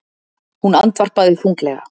Hún andvarpaði þunglega.